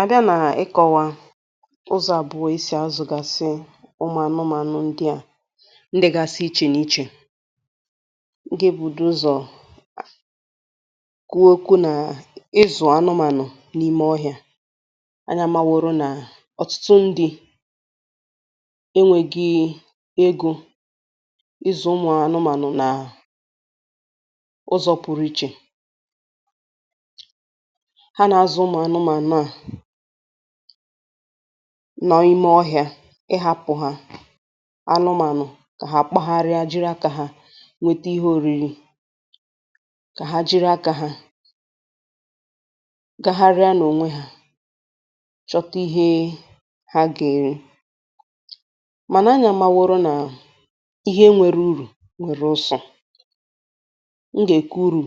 àbià nà ịkọ̀wà ụzọ̀ àbụọ̀ e sì azụ̀gàsị ụmụ̀ anụmanụ̀ ndị à, ndị̀ gàsị ichè n’ichè,m ga ebido ụzọ̀ kuo oku nà ịzụ̀ anụmanụ̀ n’ime ọhịȧ anya ma wòrò nà ọtụtụ ndị̇ enwėghi̇ egȯ ịzụ̀ ụmụ̀ anụmanụ̀ nà ụzọ̀ pụrụ ichè, ha na azu umu anumanu a na- ime ọhịȧ ịhȧpụ̀ hȧ kà ha kpagharịa jiri akȧ ha nwete ihe ȯriri kà ha jiri akȧ ha gagharịa n’ònwe hȧ chọta ihe ha gà-èri mànà anyȧ màra na ihe nwere urù nwèrè ụsọ̀, m gà-èkwu uru